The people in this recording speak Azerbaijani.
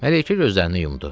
Mələykə gözlərini yumdu.